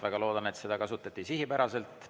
Väga loodan, et seda kasutati sihipäraselt.